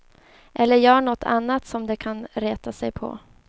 Eller gör nåt annat som de kan reta sig på.